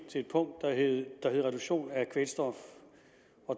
til et punkt der hed reduktion af kvælstof